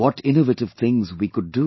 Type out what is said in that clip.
What innovative things can we do